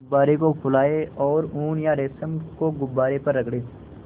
गुब्बारे को फुलाएँ और ऊन या रेशम को गुब्बारे पर रगड़ें